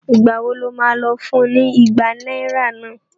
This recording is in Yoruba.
Ìgbà wo lo má lọ fún ní ìgbà náírà náà?